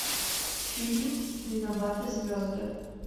фильм виноваты звезды